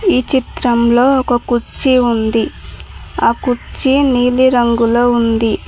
ఈ చిత్రంలో ఒక కుర్చీ ఉంది ఆ కుర్చీ నీలిరంగులొ ఉంది.